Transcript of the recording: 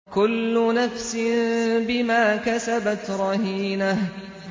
كُلُّ نَفْسٍ بِمَا كَسَبَتْ رَهِينَةٌ